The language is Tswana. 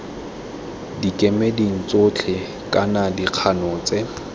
dikemeding tsotlhe kana dikgano tse